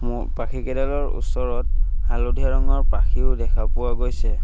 ময়ূৰ পাখিকেইডালৰ ওচৰত হালধীয়া ৰঙৰ পাখিও দেখা পোৱা গৈছে।